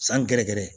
San gɛrɛgɛrɛ